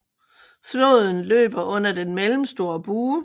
Floden løber under den mellemstore bue